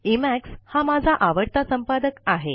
Emax हा माझा आवडता संपादक आहे